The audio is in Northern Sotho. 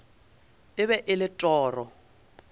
e be e le toro